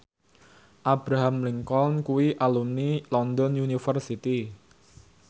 Abraham Lincoln kuwi alumni London University